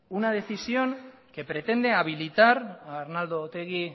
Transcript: una decisión que pretende habilitar a arnaldo otegi